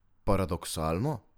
Paradoksalno?